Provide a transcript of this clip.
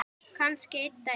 Kannski einn daginn.